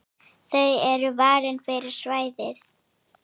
Þau eru valin fyrir svæðið.